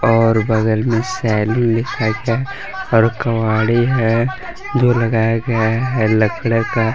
और बगल में सैलून लिखा है और कवाड़ी है जो लगाया गया है लकडे का।